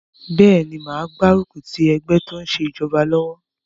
Bẹ́ẹ̀ni, mo máa gbárùkù ti ẹgbẹ́ tó n ṣe ìjọba lọ́wọ́